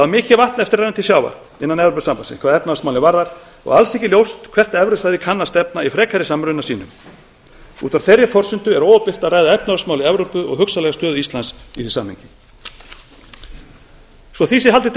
mikið vatn á eftir að renna til sjávar innan evrópusambandsins hvað efnahagsmálin varðar og alls ekki ljóst hvert evrusvæðið kann að stefna í frekari samruna sínum út af þeirri forsendu er óábyrgt að ræða efnahagsmál í evrópu og hugsanlega stöðu íslands í því samhengi svo því sé haldið